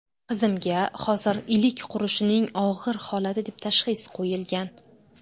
Qizimga hozir ‘ilik qurishining og‘ir holati’ deb tashxis qo‘yilgan.